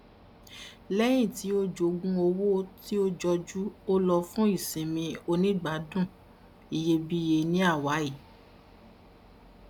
lẹyìn tí o jogún owó tó jọjú ó lọ fún ìsinmi onígbàádùn iyebíiye ní hawaii